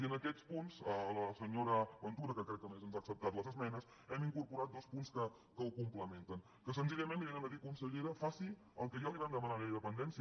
i en aquests punts a la senyora ventura que crec que a més ens ha acceptat les esmenes hem incorporat dos punts que ho complementen que senzillament vénen a dir consellera faci el que ja li vam demanar amb la llei de dependència